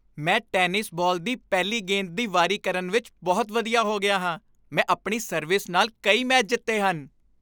ਮੈਂ tennis ball ਦੀ ਪਹਿਲੀ ਗੇਂਦ ਦੀ ਵਾਰੀ ਕਰਨ ਵਿੱਚ ਬਹੁਤ ਵਧੀਆ ਹੋ ਗਿਆ ਹਾਂ। ਮੈਂ ਆਪਣੀ ਸਰਵਿਸ ਨਾਲ ਕਈ ਮੈਚ ਜਿੱਤੇ ਹਨ।